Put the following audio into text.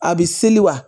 A bɛ seli wa